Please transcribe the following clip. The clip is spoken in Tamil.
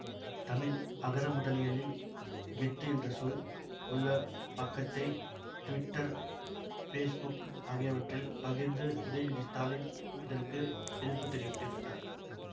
தமிழ் அகரமுதலியில் கெத்து என்ற சொல் உள்ள பக்கத்தைத் துவிட்டர் பேசுபுக்கு ஆகியவற்றில் பகிர்ந்து உதயநிதி ஸ்டாலின் இதற்கு எதிர்ப்பு தெரிவித்திருந்தார்